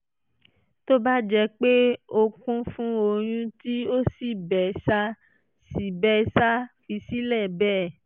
tó bá jẹ́ pé ó kún fún ọyún tí ó sì bẹ́ ṣáà sì bẹ́ ṣáà fi sílẹ̀ bẹ́ẹ̀